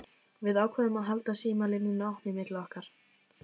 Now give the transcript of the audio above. Við ákváðum að halda símalínunni opinni milli okkar.